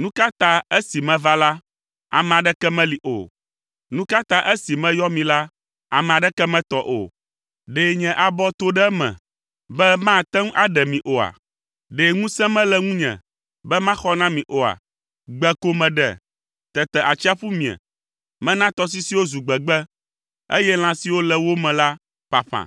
Nu ka ta esi meva la, ame aɖeke meli o? Nu ka ta esi meyɔ mi la, ame aɖeke metɔ o? Ɖe nye abɔ to ɖe me be mate ŋu aɖe mi oa? Ɖe ŋusẽ mele ŋunye be maxɔ na mi oa? Gbe ko meɖe, tete atsiaƒu mie. Mena tɔsisiwo zu gbegbe, eye lã siwo le wo me la ƒaƒã,